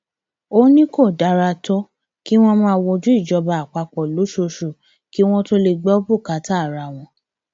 ó ní kò dára tó kí wọn máa wojú ìjọba àpapọ lóṣooṣù kí wọn tóó lè gbọ bùkátà ara wọn